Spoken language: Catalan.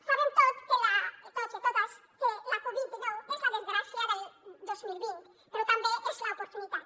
sabem tots tots i totes que la covid dinou és la desgràcia del dos mil vint però també és l’oportunitat